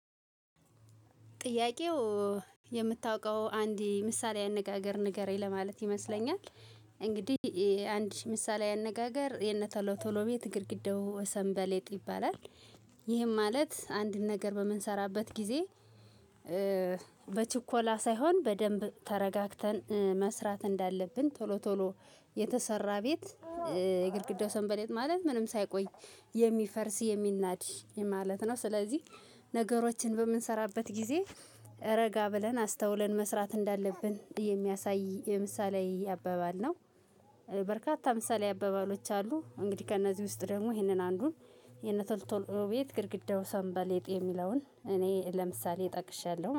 ጥያቄው የምታውቀው አንድ ምሳሌያዊ አነጋገር ንገረኝ ለማለት ይመስለኛል። እንግዲህ አንድ ምሳሌያዊ አነጋገር የነቶሎ ቶሎ ቤት ግድግዳው ሰንበሌጥ ይባላል። ይህም ማለት አንድን ነገር በምንሰራበት ጊዜ በችኮላ ሳይሆን በደንብ ተረጋግተን መስራት እንዳለብን ቶሎ ቶሎ የተሰራ ቤት የግድግዳው ሰንበሌጥ ማለት ምንም ሳይቆይ የሚፈርስ የሚናድ ማለት ነው። ስለዚህ ነገሮችን በምንሰራበት ጊዜ ረጋ ብለን አስተውለን መስራት እንዳለብን የሚያሳይ የምሳሌያዊ አባባል ነው። በርካታ ምሳሌያዊ አባባሎች አሉ። እንግዲህ ከእነዚህ ውስጥ ደግሞ ይሄንን አንዱን የነቶሎ ቶሎ ቤት ግድግዳው ሰንበሌጥ የሚለውን እኔ ለምሳሌ ጠቅሻለው ማ